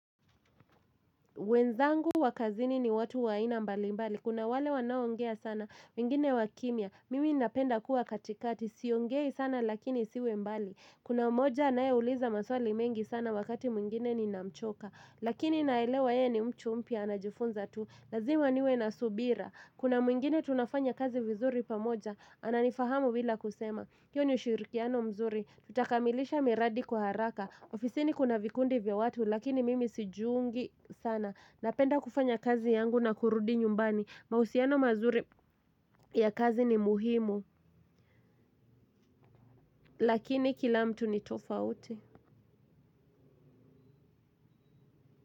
Wenzangu wakazini ni watu wa aina mbali mbali, kuna wale wanaongea sana, wengine wakimia, mimi ninapenda kuwa katikati, siongei sana lakini siwe mbali. Kuna moja anaeuliza maswali mengi sana wakati mwingine ninamchoka, lakini naelewa yeye ni mtu mpya, anajifunza tu, lazima niwe na subira. Kuna mwingine tunafanya kazi vizuri pamoja, ananifahamu bila kusema, hiyo ni ushirikiano mzuri, tutakamilisha miradi kwa haraka. Ofisini kuna vikundi vya watu lakini mimi sijiungi sana. Napenda kufanya kazi yangu na kurudi nyumbani. Mahusiano mazuri ya kazi ni muhimu lakini kila mtu ni tofauti.